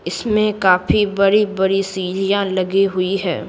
इसमें काफी बड़ी-बड़ी सीढ़ियां लगी हुई हैं।